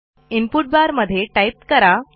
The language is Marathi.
इनपुट बार मध्ये टाईप करा